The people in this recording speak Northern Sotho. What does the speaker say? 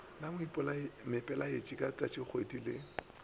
la moipiletši ka tšatšikgwedi le